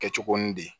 Kɛ co ni de